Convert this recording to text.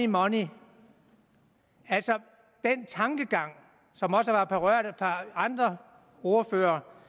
money det er altså den tankegang som også er blevet berørt af et par andre ordførere